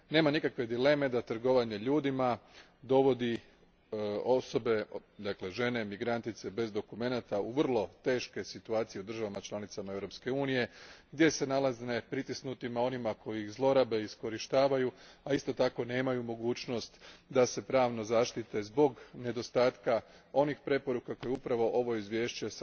Nema nikakve dileme da trgovanje ljudima dovodi osobe, dakle, žene, migrantice bez dokumenata u vrlo teške situacije u državama članicama Europske unije gdje se nalaze pritisnutima onima koji ih zlorabe i iskorištavaju, a isto tako nemaju mogućnost da se pravno zaštite zbog nedostatka onih preporuka koje upravo ovo izvješće